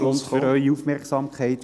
und für Ihre Aufmerksamkeit.